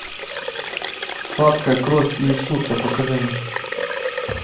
сладкая кровь иисуса покажи мне